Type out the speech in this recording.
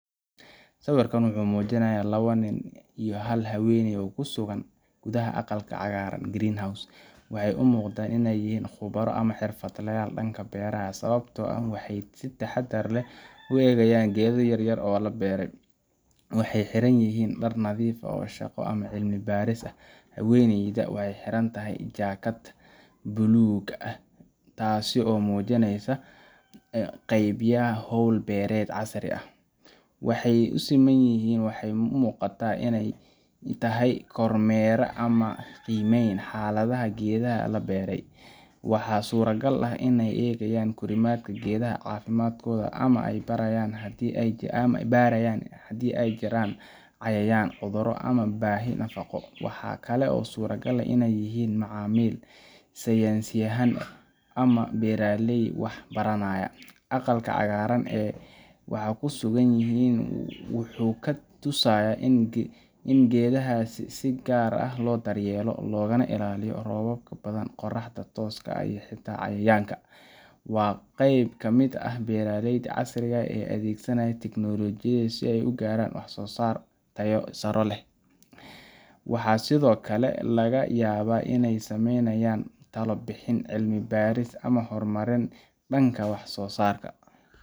Sawirku wuxuu muujinayaa laba nin iyo hal haweeney oo ku sugan gudaha aqalka cagaaran greenhouse. Waxay u muuqdaan inay yihiin khubaro ama xirfadlayaal dhanka beeraha ah, sababtoo ah waxay si taxaddar leh u eegayaan geedo yaryar oo la beeray. Waxay xiran yihiin dhar nadiif ah oo shaqo ama cilmi baaris ah , haweeneyduna waxaay xiran tahay jaakad bulug ah, taasoo muujineysa ka qeybgalka hawl beereed casri ah. Waxa ay simanyihin waxay u muuqataa in ay tahay kormeer ama qiimeyn xaaladda geedaha la beelay. Waxaa suuragal ah in ay eegayaan korriimada geedaha, caafimaadkooda, ama ay baarayaan hadii ay jiraan cayayaan, cudurro ama baahi nafaqo. Waxaa kale oo suuragal ah in ay yihiin macallimiin, saynisyahann, ama beeraley wax baranaya. Aqalka cagaaran ee ay ku sugan yihiin wuxuu kaa tusayaa in geedahaas si gaar ah loo daryeelayo, loogana ilaalinayo roobka badan, qorraxda tooska ah ama xitaa cayayaanka. Waa qayb ka mid ah beeraleyda casriga ah ee adeegsanaya tignoolajiyada si ay u gaaraan wax-soosaar tayo sare leh. Waxaa sidoo kale laga yaabaa in ay sameynayaan talo bixin, cilmi baaris ama horumarin dhanka wax-soosaarka.